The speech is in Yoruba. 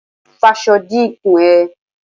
Faṣọ di ikùn ẹ!